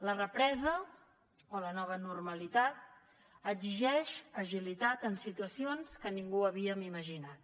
la represa o la nova normalitat exigeix agilitat en situacions que ningú havíem imaginat